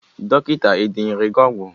Dọkịta e denyere gị ọgwụ?